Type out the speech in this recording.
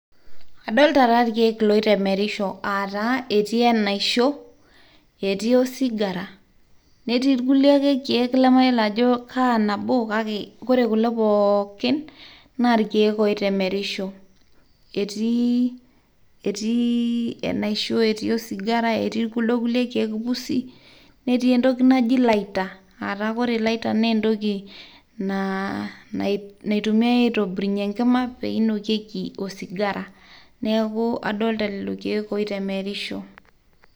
Adolta taa ilkeek oitemerisho ataa etii enaisho ,etii osigara, netii ake ilkulie keek lemayiolo ajo nabo kake wore kulo pookin naa ilkeek oitemerisho etii enasiho, etii osigara netii kuldo kulie keek pusi netii entoki naji lighter wore lighter na entoki naitumiai aitobirunyie enkima peinokieki osigara neaku adolta lelo keek oitemerisho